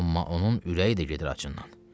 Amma onun ürəyi də gedir acından.